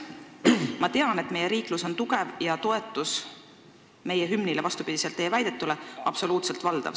Ma tean, et meie riiklus on tugev ja toetus meie hümnile on teie väidetule vastupidi absoluutselt valdav.